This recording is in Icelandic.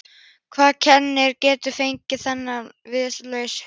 Hvaða kennari getur fangað þennan friðlausa huga?